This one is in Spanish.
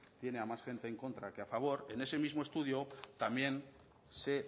tiene a más gente en contra que a favor en ese mismo estudio también se